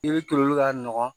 I bɛ toli ka nɔgɔn